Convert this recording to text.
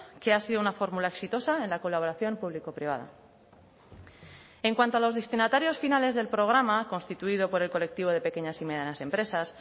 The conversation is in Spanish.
que ha sido una fórmula exitosa en la colaboración público privada en cuanto a los destinatarios finales del programa constituido por el colectivo de pequeñas y medianas empresas